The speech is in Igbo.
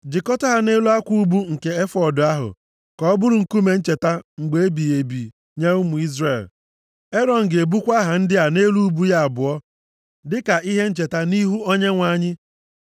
jikọta ha nʼelu akwa ubu nke efọọd ahụ ka ọ bụrụ nkume ncheta mgbe ebighị ebi nye ụmụ Izrel. Erọn ga-ebukwa aha ndị a nʼelu ubu ya abụọ, dịka ihe ncheta nʼihu Onyenwe anyị.